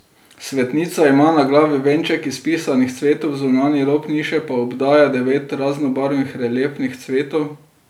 Svetnica ima na glavi venček iz pisanih cvetov, zunanji rob niše pa obdaja devet raznobarvnih reliefnih cvetov.